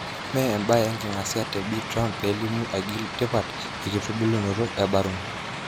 Mee embaye enkingasia te Bi Trump pelimu aigil tipat e kitubulunoto e Barron.